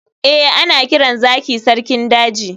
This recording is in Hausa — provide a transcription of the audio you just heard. eh, ana kiran zaki sarkin daji